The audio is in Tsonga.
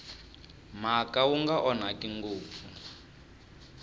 mhaka wu nga onhaki ngopfu